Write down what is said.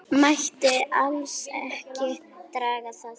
Mætti alls ekki draga það.